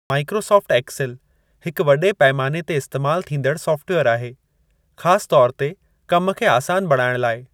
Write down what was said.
Microsoft Excel हिक वॾे पैमाने ते इस्तेमाल थींदड़ सॉफ्टवेयर आहे, ख़ासि तौर ते कम खे आसान बणाइणु लाइ।